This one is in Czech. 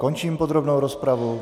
Končím podrobnou rozpravu.